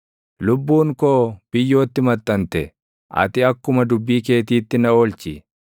Lubbuun koo biyyootti maxxante; ati akkuma dubbii keetiitti na oolchi.